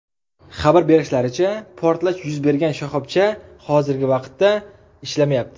Xabar berishlaricha, portlash yuz bergan shoxobcha hozirgi vaqtda ishlamayapti.